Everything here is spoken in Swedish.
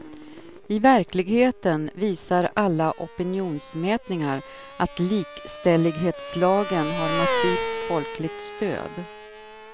I verkligheten visar alla opinionsmätningar att likställighetslagen har massivt folkligt stöd.